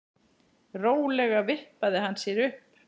Rólega vippaði hann sér upp.